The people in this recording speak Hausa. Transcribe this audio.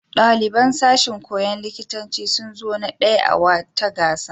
Ɗaliban sashin koyon likitanci sun zo na ɗaya a wata gasa.